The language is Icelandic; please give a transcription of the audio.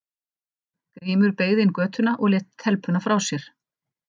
Grímur beygði inn í götuna og lét telpuna frá sér.